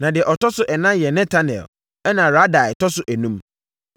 Na deɛ ɔtɔ so ɛnan yɛ Netanel ɛnna Radai tɔ so enum.